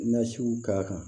Nasiw ka kan